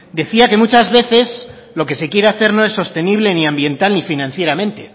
decía que muchas veces lo que se quiere hacer no es sostenible ni ambiental ni financieramente